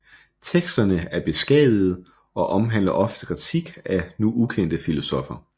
Teksterne er beskadigede og omhandler ofte kritik af nu ukendte filosoffer